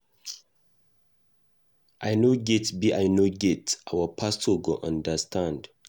I no get be I no get, our pastor go understand.